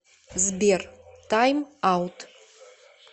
сбер тайм аут